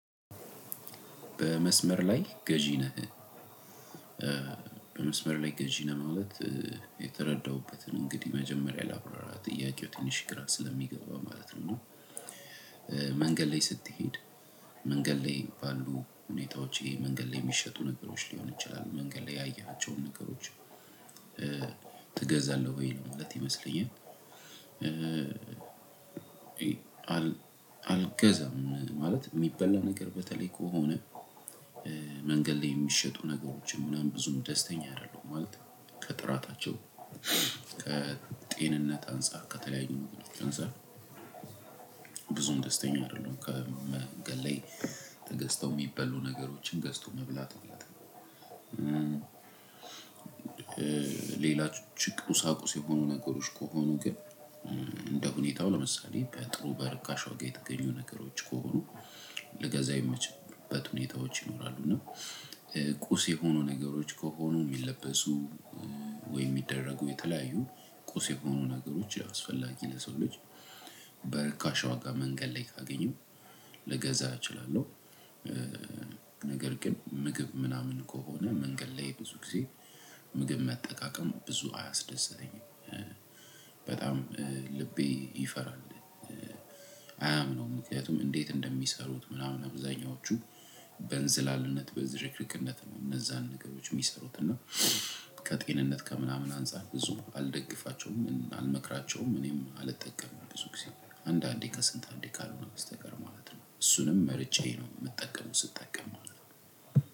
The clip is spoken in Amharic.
በመስመር ላይ ገዢ ነህ? በመስመር ላይ ገዢ ነህ ማለት የተረዳሁበትን እንግዲህ መጀመሪያ ላብራራ ጥያቄው ትንሽ ግራ ስለሚገባ ማለት ነው። እና መንገድ ላይ ስትሄድ መንገድ ላይ ባሉ ሁኔታዎቼ መንገድ ላይ የሚሸጡ ነገሮች ሊሆን ይችላሉ መንገድ ላይ ያየሃቸውን ነገሮች? ትገዛለህ ወይ ለ ማለት ይመስለኛል። አልገዛም ማለት የሚበላ ነገር በተለይ ከሆነ። መንገድ ላይ የሚሸጡ ነገሮችን ምናምን ብዙም ደስተኛ አይደለሁም ማለት ከጥራታቸው ከጤንነት አንፃር ከተለያዩ ነገሮች አንፃር። ብዙም ደስተኛ አይደለሁም ከመንገድ ላይ ተገዝተው የሚበሉ ነገሮችን ገዝቶ መብላት ማለት። ሌላ ጭቅ ቁሳቁስ የ ሆኑ ነገሮች ከሆኑ ግን እንደ ሁኔታው ለምሳሌ በጥሩ በርካሽ ዋጋ የተገኙ ነገሮች ከሆኑ ልገዛ የምችልበት ሁኔታዎች ይኖራሉ። እና ቁስ የሆኑ ነገሮች ከሆኑ የሚለበሱ ወይ የሚደረጉ የተለያዩ ቁስ የሆኑ ነገሮች ላይ አስፈላጊ ለሰው ልጅ በርካሽ ዋጋ መንገድ ላይ ካገኘሁ ልገዛ እችላለሁ። ነገር ግን ምግብ ምናምን ከሆነ መንገድ ላይ ብዙ ጊዜ ምግብ መጠቃቀም ብዙ አያስደስተኝም። በጣም ልቤ ይፈራል። አያምነውም ምክንያቱም እንዴት እንደሚሰሩት ምናምን አብዛኛዎቹ በ እንዝላልነት በዝርክርክነት ነው። እነዛን ነገሮች የሚሰሩት እና ከጤንነት ከምናምን አንፃር ብዙም አልደግፋቸውም አልመክራቸውም እኔም አልጠቀምም ብዙ ጊዜ አንዳንዴ ከስንት አንዴ ካልሆነ በስተቀር ማለት ነው እሱንም መርጬ ነው የምጠቀመው። ስጠቀም ማለት ነው።